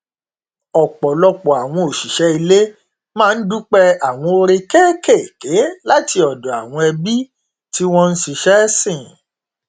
ọpọlọpọ àwọn òṣìṣẹ ilé máa n dúpẹ àwọn oore kékékèé láti ọdọ àwọn ẹbí tí wọn n ṣiṣẹ sìn